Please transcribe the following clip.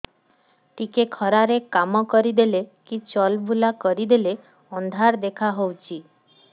ଟିକେ ଖରା ରେ କାମ କରିଦେଲେ କି ଚଲବୁଲା କରିଦେଲେ ଅନ୍ଧାର ଦେଖା ହଉଚି